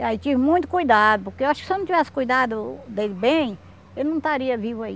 E aí tive muito cuidado, porque eu acho que se eu não tivesse cuidado dele bem, ele não estaria vivo aí.